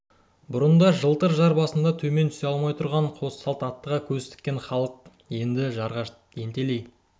бұрын да жалтыр жар басында төмен түсе алмай тұрған қос салт аттыға көз тіккен халық енді жоғарыға ентелей